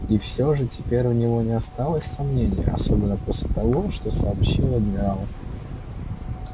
и всё же теперь у него не осталось сомнений особенно после того что сообщил адмирал